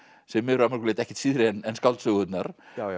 sem er að mörgu leyti ekkert síðra en skáldsögurnar